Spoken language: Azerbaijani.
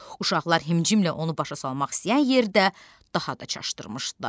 Uşaqlar himcimlə onu başa salmaq istəyən yerdə daha da çaşdırmışdılar.